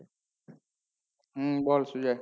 হম বল সুজয়